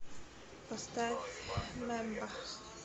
поставь мемба